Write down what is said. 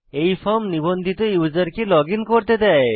এই ফর্ম নিবন্ধিত ইউসারকে লগইন করতে দেয়